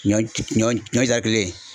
Ɲɔ ɲɔ ɲɔ kelen